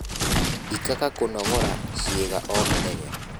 Ikaga kũnogora ciiga o mũthenya